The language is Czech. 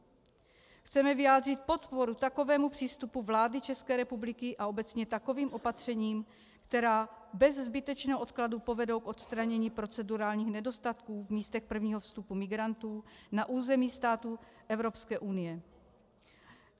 Chceme vyjádřit podporu takovému přístupu vlády České republiky a obecně takovým opatřením, která bez zbytečného odkladu povedou k odstranění procedurálních nedostatků v místech prvního vstupu migrantů na území států Evropské unie.